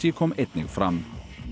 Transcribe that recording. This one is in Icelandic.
kom einnig fram